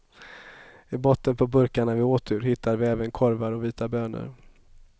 I botten på burkarna vi åt ur hittade vi även korvar och vita bönor.